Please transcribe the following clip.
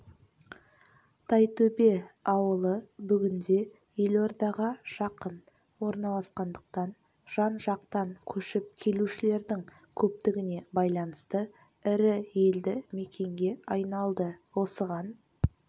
тайтөбе ауылы бүгінде елордаға жақын орналасқандықтан жан-жақтан көшіп келушілердің көптігіне байланысты ірі елді мекенге айналды осыған